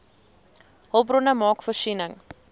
hulpbronne maak voorsiening